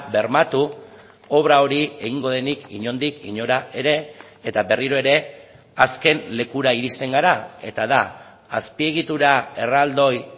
bermatu obra hori egingo denik inondik inora ere eta berriro ere azken lekura iristen gara eta da azpiegitura erraldoi